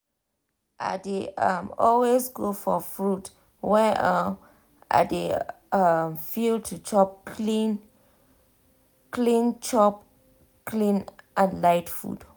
i dey um always go for fruit when um i dey um feel to chop clean clean chop clean and light food.